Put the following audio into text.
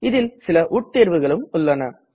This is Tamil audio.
இதில் சில உட் தேர்வுகளும் உள்ளன